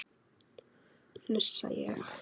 hnussa ég.